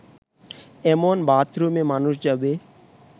এমন বাথরুমে মানুষ যাবে